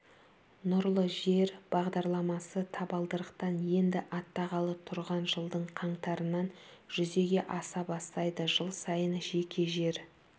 нұрлы жер бағдарламасы табалдырықтан енді аттағалы тұрған жылдың қаңтарынан жүзеге аса бастайды жыл сайын жеке жер